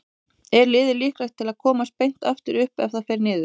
Er liðið líklegt til að komast beint aftur upp ef það fer niður?